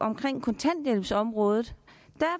kontanthjælpsområdet